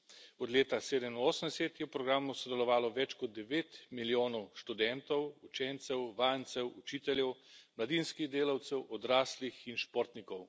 Od leta 1987 je v programu sodelovalo več kot 9 milijonov študentov, učencev, vajencev, učiteljev, mladinskih delavcev, odraslih in športnikov.